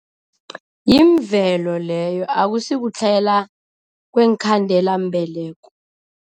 Yimvelo leyo, akusikutlhayela kweenkhandelambeleko.